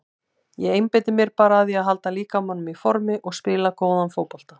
Ég einbeiti mér bara að því að halda líkamanum í formi og spila góðan fótbolta.